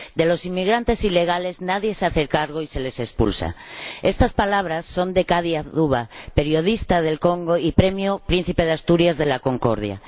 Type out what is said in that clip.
De los inmigrantes ilegales nadie se hace cargo y se les expulsa estas palabras son de Caddy Adzuba, periodista del Congo y premio Príncipe de Asturias de la Concordia.